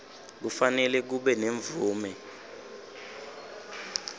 kufanele kube nemvume